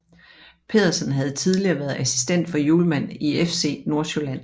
Pedersen havde tidligere været assistent for Hjulmand i FC Nordsjælland